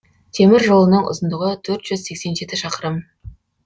темір жолының ұзындығы төрт жүз сексен жеті шақырым